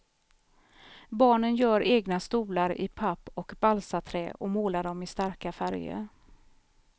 Barnen gör egna stolar i papp och balsaträ och målar dem i starka färger.